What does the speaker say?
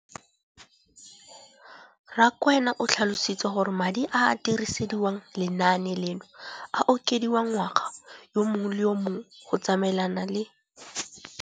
Rakwena o tlhalositse gore madi a a dirisediwang lenaane leno a okediwa ngwaga yo mongwe le yo mongwe go tsamaelana le